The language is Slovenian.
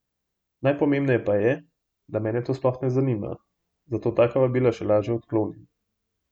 Najpomembneje pa je, da mene to sploh ne zanima, zato taka vabila še lažje odklonim.